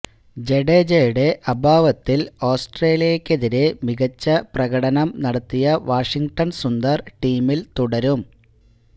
ജഡേജയുടെ അഭാവത്തിൽ ഓസ്ട്രേലിയക്കെതിരെ മികച്ച പ്രകടനം നടത്തിയ വാഷിംഗ്ടൺ സുന്ദർ ടീമിൽ തുടരും